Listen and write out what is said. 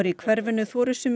í hverfinu þori sumir